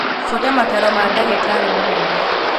Buata mataro ma ndagītarī mūnene